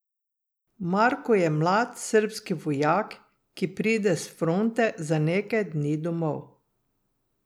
Marko je mlad srbski vojak, ki pride s fronte za nekaj dni domov.